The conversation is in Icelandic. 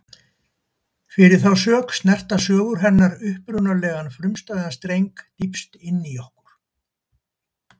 Fyrir þá sök snerta sögur hennar upprunalegan, frumstæðan streng dýpst inní okkur.